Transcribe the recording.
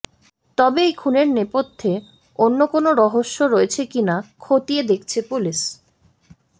তবে এই খুনের নেপথ্যে অন্য কোনও রহস্য রয়েছে কিনা খতিয়ে দেখছে পুলিশ